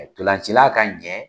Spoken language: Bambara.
Ntolancila ka ɲɛ